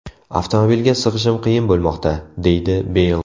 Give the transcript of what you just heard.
Avtomobilga sig‘ishim qiyin bo‘lmoqda”, deydi Beyl.